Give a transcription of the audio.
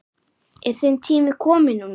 Er þinn tími kominn núna?